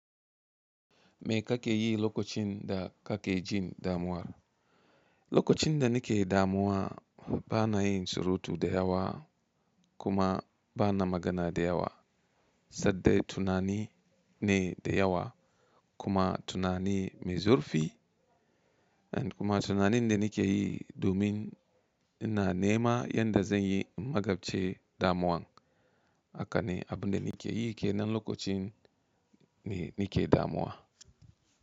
Me ka ke yi lokacin da ka ke jin damuwa? Lokacin da ni ke damuwa, bana yin surutu da yawa kuma bana magana da yawa, sanda tunani ne da yawa kuma tunani mai zurfi kuma tunanin da ni ke yi domin ina nema yadda zan yi magabci damuwan. Haka ne, abin da ni ke yi ke nan lokacin da ni ke damuwa.